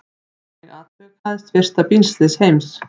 Þannig atvikaðist fyrsta bílslys heims.